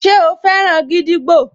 Ṣe o fẹ́ràn gídígbò?